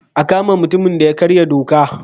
A kama mutumin da ya karya doka.